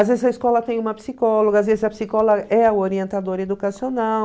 Às vezes a escola tem uma psicóloga, às vezes a psicóloga é a orientadora educacional.